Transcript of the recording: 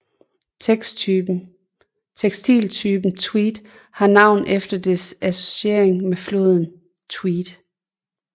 Tekstiltypen tweed har navn efter dets associering med floden Tweed